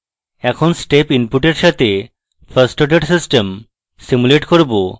এখন step input we সাথে first order system simulate করব